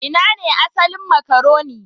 Ina ne asalin makaroni?